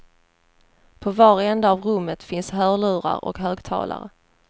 På var ända av rummet finns hörlurar och högtalare.